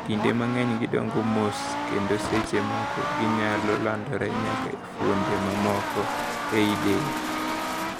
"Kinde mang'eny gidongo mos kendo seche moko ginyalo landore nyaka e fuonde mamoko ei del (metastase)."